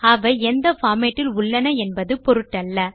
அவை எந்த பார்மேட் இல் உள்ளன என்பது பொருட்டல்ல